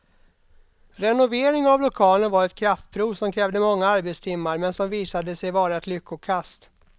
Renovering av lokalen var ett kraftprov som krävde många arbetstimmar men som visade sig vara ett lyckokast.